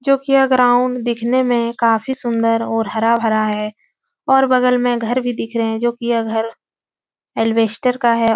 जो कि यह ग्राउन्ड दिखने में काफी सुंदर और हरा-भरा है और बगल में घर भी दिख रहे हैं जो कि यह घर का है।